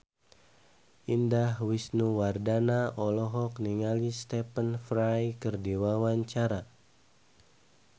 Indah Wisnuwardana olohok ningali Stephen Fry keur diwawancara